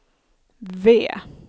V